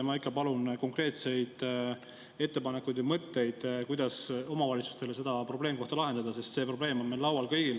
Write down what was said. Ma ikka palun konkreetseid ettepanekuid ja mõtteid, kuidas omavalitsustele seda probleemkohta lahendada, sest see probleem on meil kõigil laual.